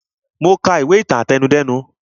Mo ka ìwé ìtàn àtẹnudẹ́nu